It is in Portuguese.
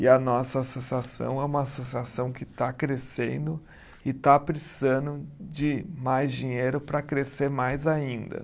E a nossa associação é uma associação que está crescendo e está precisando de mais dinheiro para crescer mais ainda.